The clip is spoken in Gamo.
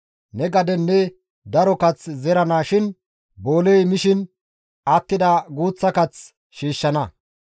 Ne gaden ne daro kath zerana shin booley mishin attida guuththa kath shiishshana.